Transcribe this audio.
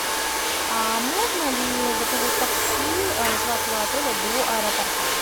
а можно ли заказать такси с вашего отеля до аэропорта